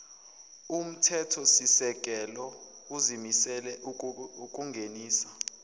umthethosisekelo uzimisele ukungenisa